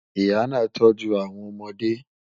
Ìyà náà tọ̀jú awọn ọmọde